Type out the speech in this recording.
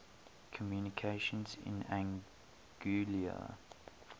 communications in anguilla